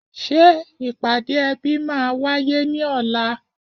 Ṣé ìpàdé ẹbí máa wáyé ní ọ̀la